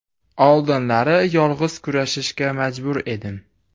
Oldinlari yolg‘iz kurashishga majbur edim.